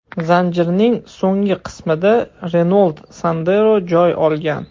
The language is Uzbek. Zanjirning so‘nggi qismida Renault Sandero joy olgan.